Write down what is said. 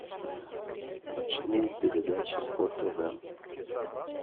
ночные передачи по тв